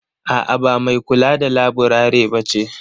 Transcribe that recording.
A' a ba mai kula da laburare bace ba.